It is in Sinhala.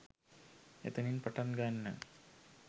එතනින් පටන් ගන්න